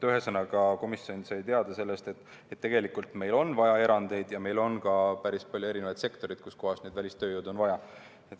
Ühesõnaga, komisjon sai teada, et tegelikult meil on vaja erandeid ja meil on ka päris palju sektoreid, kus välistööjõudu on vaja.